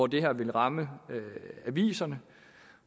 det her vil ramme aviserne